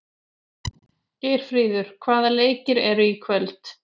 Geirfríður, hvaða leikir eru í kvöld?